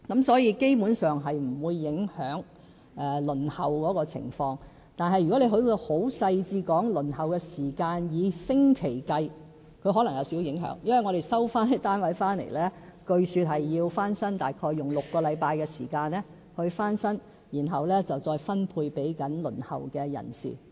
所以，基本上，這是不會影響輪候的情況；但如果要很細緻地說出以星期計算的輪候時間，則可能有少許影響，因為我們收回的單位，據說需要約6星期時間翻新，然後再分配給正在輪候的人士。